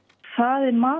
það er mat